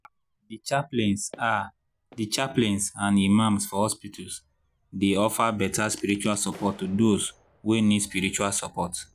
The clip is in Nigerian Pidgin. ahdi chaplains ahdi chaplains and imams for hospitals dey offer better spiritual support to those wey need spiritual surport